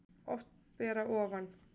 Oft ber að ofan